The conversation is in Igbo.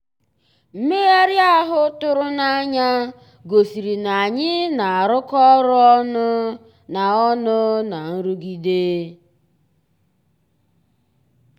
mmèghàrị́ ahụ́ tụ̀rụ̀ n'ànyá gosìrí ná ànyị́ ná-àrụ́kọ ọ́rụ́ ọnụ́ ná ọnụ́ ná nrụ̀gídé.